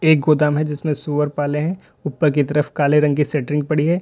यह एक गोदाम है जिसमे सूअर पाले हैं ऊपर की तरफ काले रंग की शटरिंग पड़ी है।